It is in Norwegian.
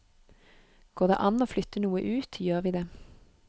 Går det an å flytte noe ut, gjør vi det.